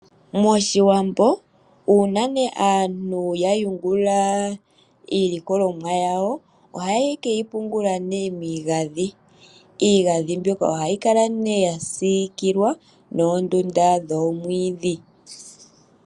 MOshiwambo uuna nee aantu ya yungula iilikolomwa yawo ohaye ke yi pungula nee miigadhi. Iigadhi mbyoka ohayi kala nee ya siikilwa noondunda dhoomwiidhi.